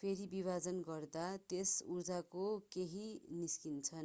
फेरि विभाजन गर्दा त्यस ऊर्जाको केही निस्किन्छ